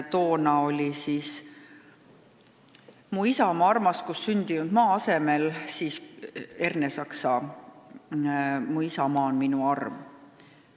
Toona kõlas seal "Mu isamaa armas, kus sündinud ma", selle asemele sooviti Ernesaksa "Mu isamaa on minu arm".